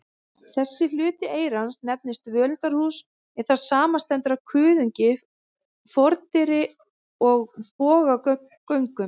Þessi hluti eyrans nefnist völundarhús, en það samanstendur af kuðungi, fordyri og bogagöngum.